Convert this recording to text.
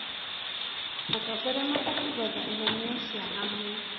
Atongoria mabatiĩ gwetha ihonia cia hamwe.